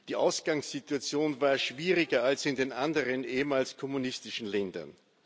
Die Ausgangssituation war schwieriger als in den anderen ehemals kommunistischen Ländern.